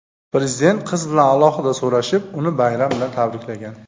Prezident qiz bilan alohida so‘rashib, uni bayram bilan tabriklagan.